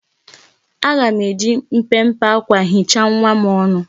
Aga m eji mpempe akwa hichaa nwa m ọnụ.